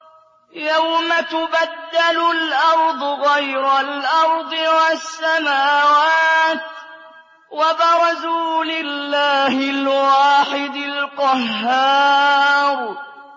يَوْمَ تُبَدَّلُ الْأَرْضُ غَيْرَ الْأَرْضِ وَالسَّمَاوَاتُ ۖ وَبَرَزُوا لِلَّهِ الْوَاحِدِ الْقَهَّارِ